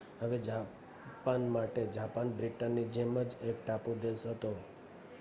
હવે જાપાન માટે જાપાન બ્રિટનની જેમ જ એક ટાપુ દેશ હતો